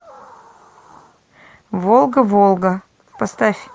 волга волга поставь